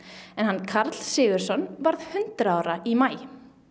en hann Karl Sigurðsson varð hundrað ára í maí